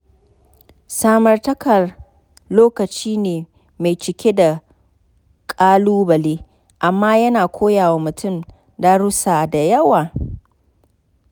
Samartaka lokaci ne mai cike da ƙalubale, amma yana koya wa mutum darussa da yawa.